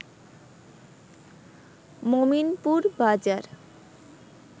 মমিনপুর বাজার